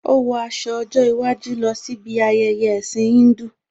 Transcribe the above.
Ó wọ aṣọ ọjọ́ iwájú lọ sí bi ayẹyẹ ẹ̀ẹ̀sìn Híńdù